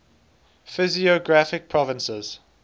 physiographic provinces